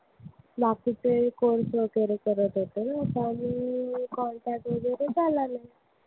बाकीचे course वगैरे करत होते त्यामुळे contact काही झाला नाही.